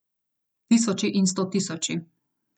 Tisoči in stotisoči!